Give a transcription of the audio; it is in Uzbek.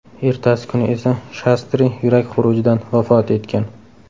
Ertasi kuni esa Shastri yurak xurujidan vafot etgan.